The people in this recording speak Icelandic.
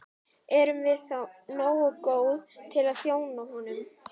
Erum við þá nógu góð til að þjóna honum?